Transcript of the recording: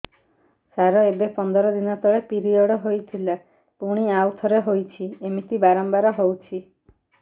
ସାର ଏବେ ପନ୍ଦର ଦିନ ତଳେ ପିରିଅଡ଼ ହୋଇଥିଲା ପୁଣି ଆଉଥରେ ହୋଇଛି ଏମିତି ବାରମ୍ବାର ହଉଛି